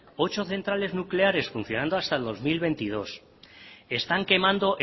ocho centrales nucleares funcionando hasta el dos mil veintidós están quemando